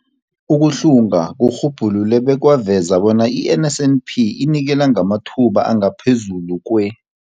Ukuhlunga kurhubhulule bekwaveza bona i-NSNP inikela ngamathuba angaphezulu kwe-